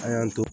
An y'an to